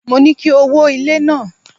Mo ní kí o wó ilé náà.